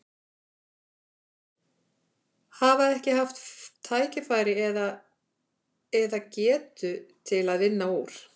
Hafa ekki haft tækifæri eða, eða getu til að vinna úr?